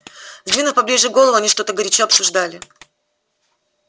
сдвинув поближе головы они что-то горячо обсуждали